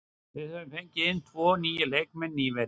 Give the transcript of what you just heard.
Við höfum fengið inn tvo nýja leikmenn nýverið.